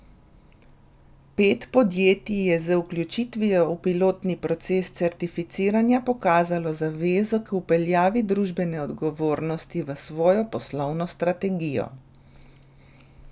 Pet podjetij je z vključitvijo v pilotni proces certificiranja pokazalo zavezo k vpeljavi družbene odgovornosti v svojo poslovno strategijo.